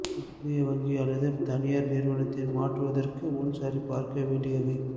புதிய வங்கி அல்லது தனியார் நிறுவனத்தில் மாற்றுவதற்கு முன் சரிபார்க்க வேண்டியவை